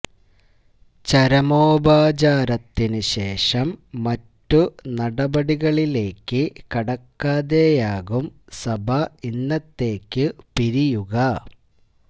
ചരമോപചാരത്തിനു ശേഷം മറ്റു നടപടികളിലേക്ക് കടക്കാതെയാകും സഭ ഇന്നത്തേക്കു പിരിയുക